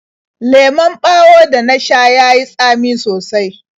Lemon ɓawon da na sha ya yi tsami sosai.